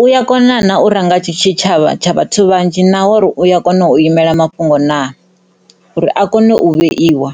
u ya kona na u ranga tshitshavha tsha vhathu vhanzhi na uri u ya kona u imela mafhungo na uri a kone u vheiwa.